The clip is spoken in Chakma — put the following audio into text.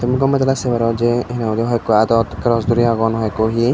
tey goma dalay say paro jay hoi ekkho art dot glass duri agon hoi ekkho he.